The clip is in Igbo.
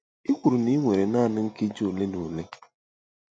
Ị kwuru na ị nwere naanị nkeji ole na ole.